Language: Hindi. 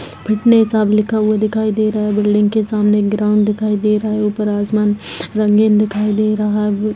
फटने साब लिखा हुआ दिखाई दे रहा है बिल्डिंग के सामने एक ग्राउण्ड दिखाई दे रहा है ऊपर आसमान रंगीन दिखाई दे रहा--